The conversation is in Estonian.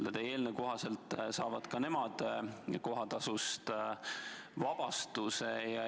Kas eelnõu kohaselt saavad ka nemad kohatasust vabastuse?